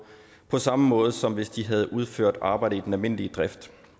på samme måde som hvis de havde udført arbejde i den almindelige drift